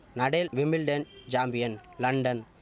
Nadal Wimbledon champion London